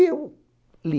Eu li